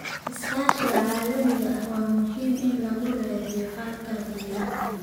Iskaashiga caalamiga ah waa muhiim in lagu raadiyo xalalka deegaanka.